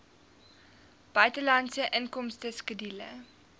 buitelandse inkomste skedule